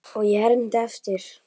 Og ég hermdi eftir.